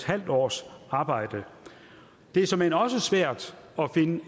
halv års arbejde det er såmænd også svært at finde